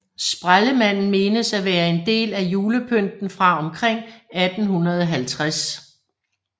Sprællemanden menes at være en del af julepynten fra omkring 1850